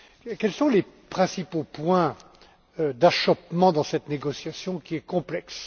Quels sont les principaux points d'achoppement dans cette négociation qui est complexe?